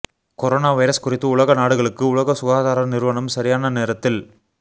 corona virus குறித்து உலக நாடுகளுக்கு உலக சுகாதார நிறுவனம் சரியான நேரத்தில்